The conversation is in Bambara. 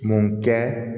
Mun kɛ